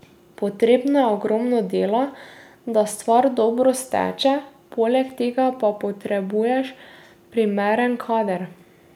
Potrebno je ogromno dela, da stvar dobro steče, poleg tega pa potrebuješ primeren kader.